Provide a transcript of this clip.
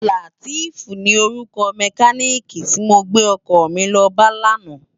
Lateef ni órúkò mèkánikí ti mó gbé òkò mi lò bá làná